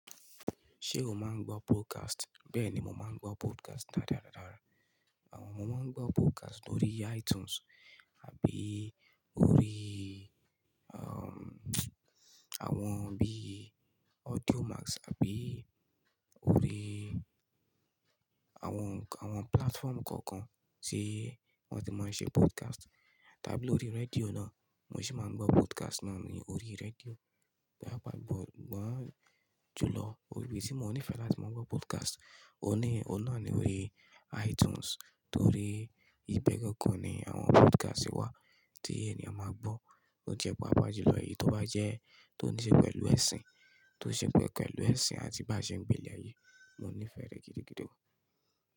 Ṣé o máa ń gbọ́ podcast? Bẹ́ẹ̀ni mo máa ń gbọ́ podcast dáda dáda. Àwọn, mo máa ń gbọ́ podcast lórí iTunes àbí orí, àwọn bí Audio Max àbí orí àwọn, àwọn platform kọ̀ọ̀kan tí wọ́n ti máa ń ṣe podcast. Tàbí lórí rédíò náà, mo sì máa ń gbọ́ podcast náà ní orí rédíò. Da'bàá gbọ̀, gbọ́n jùlọ orí bí tí mo nífẹ̀ẹ́ láti máa gbọ́ podcast, o ní, ọ̀nà ni orí iTunes torí ibẹ̀ gangan ni àwọn podcast wà tí ènìyàn máa gbọ́. Ó jẹ́ pápá jùlọ èyí tó bá jẹ́ tó ń ṣe pẹ̀lú ẹ̀sìn, tó ń ṣe pẹ̀kú pẹ̀lú ẹ̀sìn àti bá ṣe ń gbé ní ayé. Mo nífẹ̀ẹ́ rẹ̀ gidigidi.